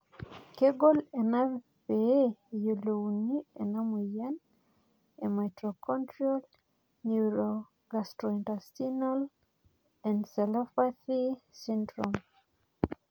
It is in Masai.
kegol ena pee iyiolou ena moyian e Mitochondrial neurogastrointestinal encephalopathy syndrome